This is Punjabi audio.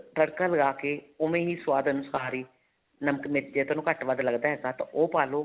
ਤੜਕਾ ਲਗਾ ਕੇ ਉਵੇਂ ਹੀ ਸੁਆਦ ਅਨੁਸਾਰ ਹੀ ਨਮਕ ਮਿਰਚ ਜੇ ਤੁਹਾਨੂੰ ਘੱਟ ਵੱਧ ਲੱਗਦਾ ਤਾਂ ਉਹ ਪਾ ਲੋ